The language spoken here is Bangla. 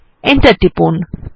এন্টার টিপুন